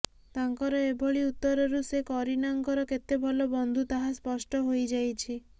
ତାଙ୍କର ଏଭଳି ଉତ୍ତରରୁ ସେ କରୀନାଙ୍କର କେତେ ଭଲ ବନ୍ଧୁ ତାହା ସ୍ପଷ୍ଟ ହୋଇ ଯାଇଛି